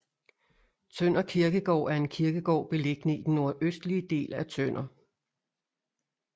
Tønder Kirkegård er en kirkegård beliggende i den nordøstlige del af Tønder